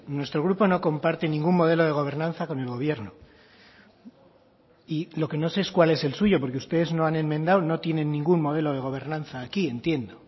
nuestro grupo no comparte ningún modelo de gobernanza con el gobierno y lo que no sé es cuál es el suyo porque ustedes no han enmendado no tienen ningún modelo de gobernanza aquí entiendo